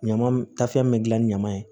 Ɲama tafɛn min bɛ gilan ni ɲaman ye